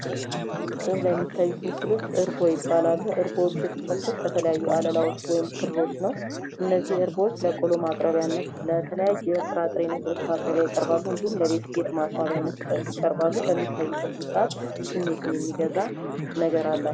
በዚህ ላይ የሚታዩት ምስሎች እርጎ ይባላሉ እርጎዎች የተሰፉት ከተለያዩ አለላዎች ወይም ክሮች ነው ፤ እነዚህም እርጎዎች ለቆሎ ማቅረቢያነት እንዲሁም ለተለያየ ጥራጥሬ ማቅረቢያነት ያገለግላሉ ፤ ሲታዩም ስሜትን የሚገዛ ነገር አላቸው።